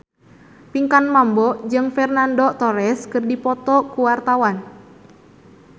Pinkan Mambo jeung Fernando Torres keur dipoto ku wartawan